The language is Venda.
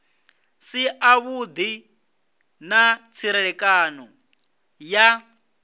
si avhudi na tserekano ya